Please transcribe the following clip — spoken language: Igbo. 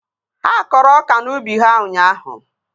Ha kọrọ ọka n'ubi ha ụnyaahụ